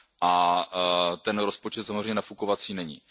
A rozpočet samozřejmě nafukovací není.